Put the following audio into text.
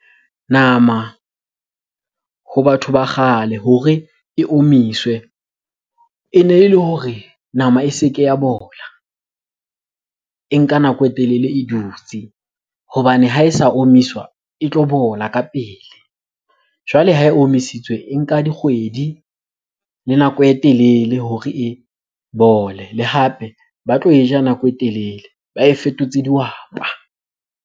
Nama ho batho ba kgale hore e omiswe. Ene e le hore nama e se ke ya bola, e nka nako e telele e dutse. Hobane ha e sa omiswa, e tlo bola ka pele. Jwale ha e omisitswe e nka dikgwedi le nako e telele hore e bole. Le hape ba tlo e ja nako e telele ba e fetotse dihwapa.